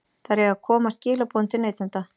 Þær eiga að koma skilaboðum til neytenda.